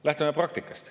Lähtume praktikast.